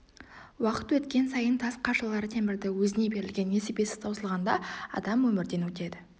уақыт өткен сайын тас қашалар темірді өзіне берілген несібесі таусылғанда адам өмірден өтеді